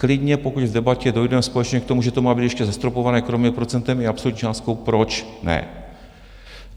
Klidně pokud v debatě dojdeme společně k tomu, že to má být ještě zastropováno kromě procentem i absolutní částkou, proč ne.